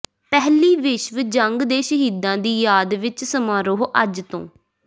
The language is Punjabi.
ਪਹਿਲੀ ਵਿਸ਼ਵ ਜੰਗ ਦੇ ਸ਼ਹੀਦਾਂ ਦੀ ਯਾਦ ਵਿੱਚ ਸਮਾਰੋਹ ਅੱਜ ਤੋਂ